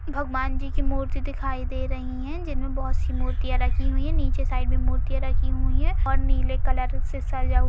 भगवान जी की मूर्ति दिखाई दे रही है जिनमें बहुत सी मूर्तियां रखी हुई हैं | नीचे साइड में मूर्तियां रखी हुई हैं और नीले कलर से सजा ह --